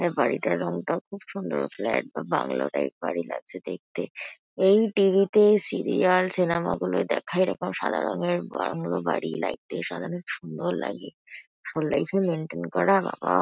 বাড়িটার রংটাও খুব সুন্দর। ফ্লাট বা বাংলো টাইপ বাড়ি লাগছে দেখতে। এই টি.ভি. -তে সিরিয়াল সিনেমা -গুলোয় দেখা এরকম সাদা রঙের বাংলো বাড়ি লাইট দিয়ে সাজালে সুন্দর লাগে। আসল লাইফ -এ মেন্টেন করা বাবা--